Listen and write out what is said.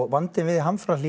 vandinn við